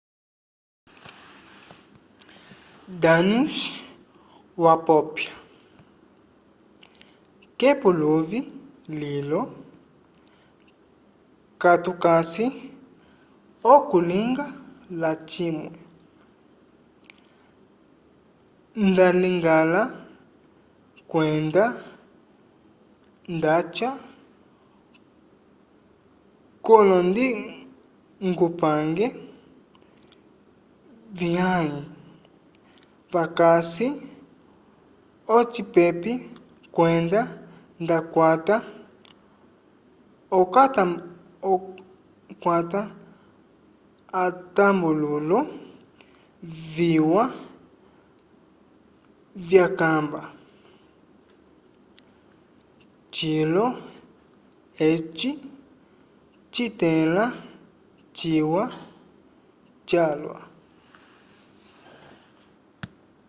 danius wapopya k'epuluvi lilo katukasi okulinga lacimwe ndaligala kwenda ndaca k'olondingupange vyãhe vakasi ocipepei kwenda nda kwata atambululo viwa vyakamba cilo eci citĩla ciwa calwa